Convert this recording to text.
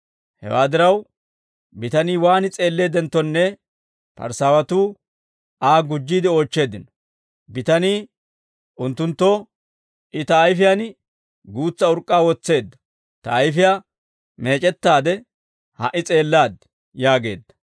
Hewaa diraw, bitanii waan s'eelleeddenttonne Parisaawatuu Aa gujjiide oochcheeddino. Bitanii unttunttoo, «I ta ayfiyaan guutsa urk'k'aa wotseedda. Ta ayfiyaa meec'ettaade ha"i s'eellaad» yaageedda.